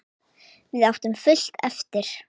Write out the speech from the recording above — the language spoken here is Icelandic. Við áttum fullt eftir.